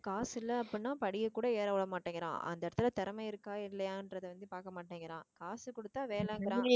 காசு இல்ல அப்படின்னா படியை கூட ஏற விட மாட்டேங்குறான் அந்த இடத்துல திறமை இருக்கா இல்லையான்றதை வந்து பார்க்க மாட்டேங்குறான் காசு குடுத்தா வேணாம்ங்கிறான்